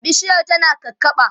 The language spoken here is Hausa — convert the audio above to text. bishiyar tana kakaɓa